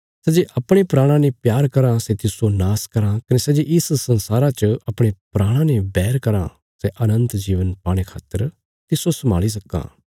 सै जे अपणे प्राणा ने प्यार कराँ सै तिस्सो नाश करां कने सै जे इस संसारा च अपणे प्राणा ने बैर करां सै अनन्त जीवन पाणे खातर तिस्सो संभाली रक्खां